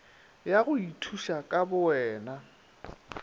ya go ithuša ka bowena